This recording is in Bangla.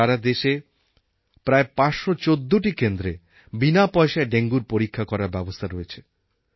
সারা দেশে প্রায় ৫১৪টি কেন্দ্রে বিনা পয়সায় ডেঙ্গুর পরীক্ষা করার ব্যবস্থা রয়েছে